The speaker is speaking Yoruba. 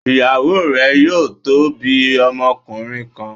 Ìyàwó rẹ yóò tó bí ọmọkùnrin kan